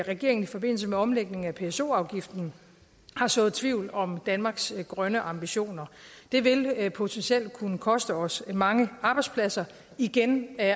regeringen i forbindelse med omlægning af pso afgiften har sået tvivl om danmarks grønne ambitioner det vil potentielt kunne koste os mange arbejdspladser igen